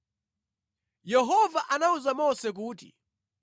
Yehova anawuza Mose kuti,